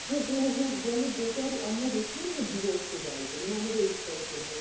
গোটা আমরা গেছিলাম না ঘুরে এসেছে গাড়িতে মানে আমাদের